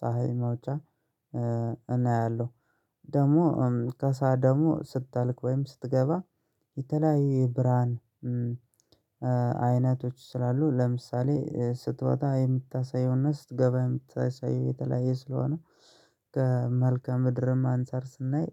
ፀሀይ መውጫ አያለሁ። ደግሞ ከሰአት ደግሞ ስትጠልቅ ወይም ስትገባ የተለያየ ብርሃን አይነቶች ስላሉ ለምሳሌ ስትወጣ የምታሳየው እና ስትገባ የምታሳየው የተለያየ ስለሆነ ከመልከ ምድርም አንፃር ስናይ